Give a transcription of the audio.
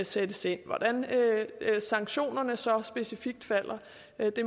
sættes ind hvordan sanktionerne så specifikt falder